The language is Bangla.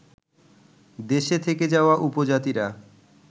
দেশে থেকে যাওয়া উপজাতিরা